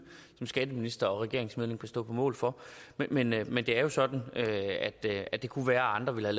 som skatteminister og regeringsmedlem kan stå på mål for men men det er jo sådan at det kunne være at andre ville